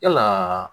Yalaa